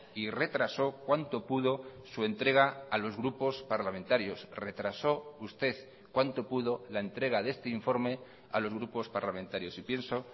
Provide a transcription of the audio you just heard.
y retrasó cuanto pudo su entrega a los grupos parlamentarios retrasó usted cuanto pudo la entrega de este informe a los grupos parlamentarios y pienso